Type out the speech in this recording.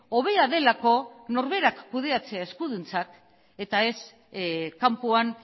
hobea delako norberak kudeatzea eskuduntzak eta ez kanpoan